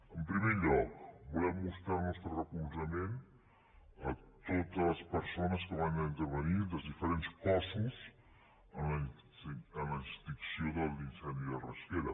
en primer lloc volem mostrar el nostre recolzament a totes les persones que van intervenir dels diferents cossos en l’extinció de l’incendi de rasquera